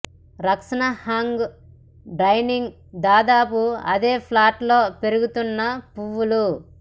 రక్షణ hang downing దాదాపు అదే ఫ్లాట్ లో పెరుగుతున్న పువ్వులు